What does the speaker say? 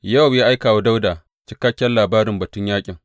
Yowab ya aika wa Dawuda cikakken labari batun yaƙin.